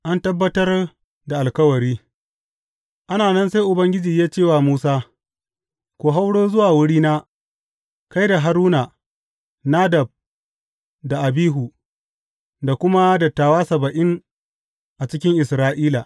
An Tabbatar da alkawari Ana nan sai Ubangiji ya ce wa Musa, Ku hauro zuwa wurina, kai da Haruna, Nadab da Abihu, da kuma dattawa saba’in a cikin Isra’ila.